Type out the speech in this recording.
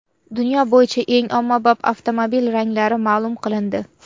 Dunyo bo‘yicha eng ommabop avtomobil ranglari ma’lum qilindi.